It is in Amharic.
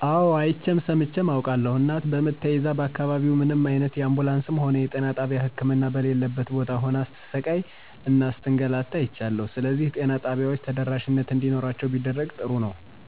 አወ አይቼም ሰምቼም አውቃለሁ። እናት በምጥ ተይዛ በአካባቢው ምንም አይነት የአንቡንስም ሆነ የጤና ጣቢያ ህክምና በሌለበት ቦታ ሁና ስትሰቃይ እና ስትንገላታ አይቻለሁ። ስለዚህ ጤና ጣቢያዎች ተደራሽነት እንዲኖራቸው ቢደረግ ጥሩ ነው።